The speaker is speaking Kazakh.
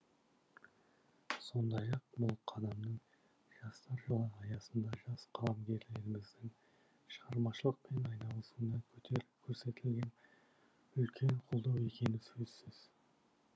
сондай ақ бұл қадамның жастар жылы аясында жас қаламгерлеріміздің шығармашылықпен айналысуына көрсетілген үлкен қолдау екені де сөзсіз